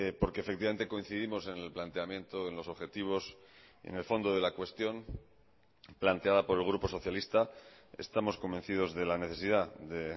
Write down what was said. porque efectivamente coincidimos en el planteamiento en los objetivos en el fondo de la cuestión planteada por el grupo socialista estamos convencidos de la necesidad de